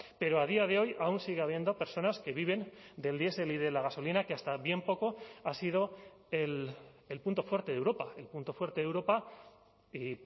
pero a día de hoy aún sigue habiendo personas que viven del diesel y de la gasolina que hasta bien poco ha sido el punto fuerte de europa el punto fuerte de europa y